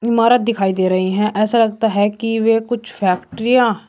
इमारत दिखाई दे रही हैं ऐसा लगता है कि वे कुछ फैक्ट्रियां --